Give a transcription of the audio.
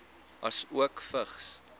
asook vigs